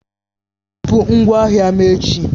Bupụ ngwa ahịa m echi!